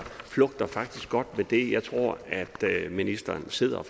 faktisk flugter godt med det jeg tror ministeren sidder